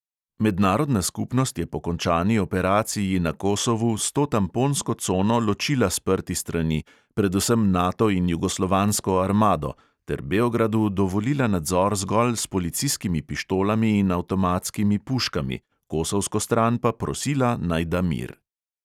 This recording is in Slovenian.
Mednarodna skupnost je po končani operaciji na kosovu s to tamponsko cono ločila sprti strani, predvsem nato in jugoslovansko armado, ter beogradu dovolila nadzor zgolj s policijskimi pištolami in avtomatskimi puškami, kosovsko stran pa prosila, naj da mir.